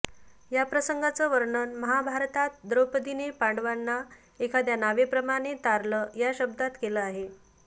या प्रसंगाचं वर्णन महाभारतात द्रौपदीने पांडवांना एखाद्या नावेप्रमाणे तारलं या शब्दांत केलं आहे